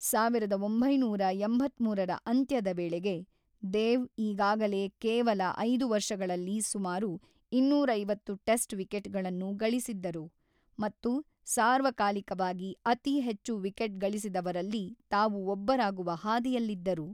ಸಾವಿರದ ಒಂಬೈನೂರ ಎಂಬತ್ತ್ಮೂರರ ಅಂತ್ಯದ ವೇಳೆಗೆ, ದೇವ್ ಈಗಾಗಲೇ ಕೇವಲ ಐದು ವರ್ಷಗಳಲ್ಲಿ ಸುಮಾರು ಇನ್ನೂರ ಐವತ್ತು ಟೆಸ್ಟ್ ವಿಕೆಟ್‌ಗಳನ್ನು ಗಳಿಸಿದ್ದರು ಮತ್ತು ಸಾರ್ವಕಾಲಿಕವಾಗಿ ಅತಿ ಹೆಚ್ಚು ವಿಕೆಟ್-ಗಳಿಸಿದವರಲ್ಲಿ ತಾವು ಒಬ್ಬರಾಗುವ ಹಾದಿಯಲ್ಲಿದ್ದರು.